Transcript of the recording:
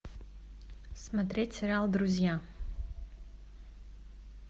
смотреть сериал друзья